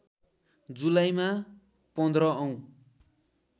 जुलाईमा १५ औं